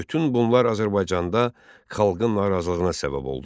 Bütün bunlar Azərbaycanda xalqın narazılığına səbəb oldu.